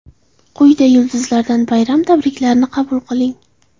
Quyida yulduzlardan bayram tabriklarini qabul qiling.